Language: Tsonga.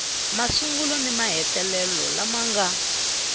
masungulo ni mahetelelo lama nga